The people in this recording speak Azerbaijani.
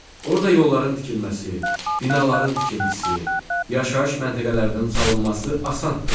Orda yolların tikilməsi, binaların tikintisi, yaşayış məntəqələrinin salınması asandır.